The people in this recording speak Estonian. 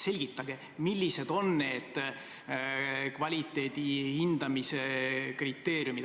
selgitage, millised on need kvaliteedi hindamise kriteeriumid.